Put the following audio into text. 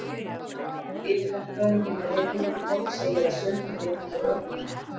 Yfirverkfræðingur hjá Reykjavíkurborg segir að sökin liggi hjá ökumönnum.